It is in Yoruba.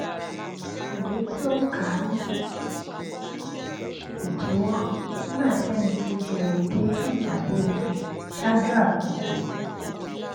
iwe ti o n ka ni idiwo nígbà tí ẹnì kejì rè dé fun ìpàdé wọn ṣáájú àkokò